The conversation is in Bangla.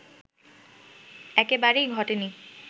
একেবারেই ঘটেনি